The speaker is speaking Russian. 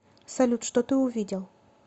салют что ты увидел